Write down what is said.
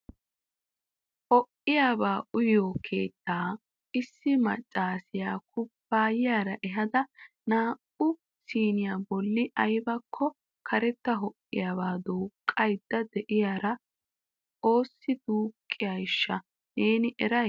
Ho'iyaaba uyiyo keettaa issi maccaassiya kubayiyaara ehada naa"u siniyaa bolli aybbakko karetta ho''iyaaba duuqaydda de'iyaara oossi duqqayshsha neen eray ?